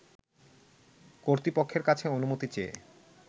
কর্তৃপক্ষের কাছে অনুমতি চেয়ে